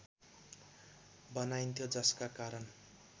बनाइन्थ्यो जसका कारण